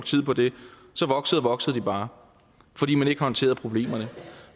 tid på det så voksede og voksede de bare fordi man ikke håndterede problemerne og